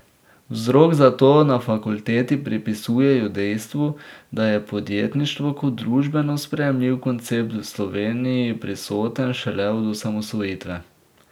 Vzrok za to na fakulteti pripisujejo dejstvu, da je podjetništvo kot družbeno sprejemljiv koncept v Sloveniji prisoten šele od osamosvojitve.